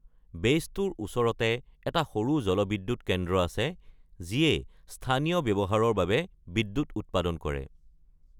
বেইছটোৰ ওচৰতে এটা সৰু জলবিদ্যুৎ কেন্দ্ৰ আছে, যিয়ে স্থানীয় ব্যৱহাৰৰ বাবে বিদ্যুৎ উৎপাদন কৰে।